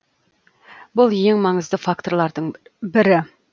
бұл ең маңызды факторлардың бірі